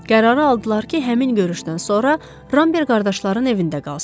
Qərarı aldılar ki, həmin görüşdən sonra Ramber qardaşların evində qalsın.